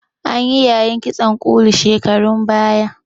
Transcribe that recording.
Anyi yayin kitson ƙulu shekarun baya.